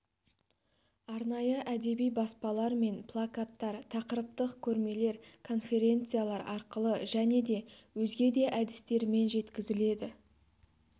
арнайы әдеби баспалар мен плакаттар тақырыптық көрмелер конференциялар арқылы және де өзге де әдістермен жеткізіледі